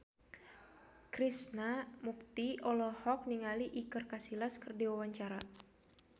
Krishna Mukti olohok ningali Iker Casillas keur diwawancara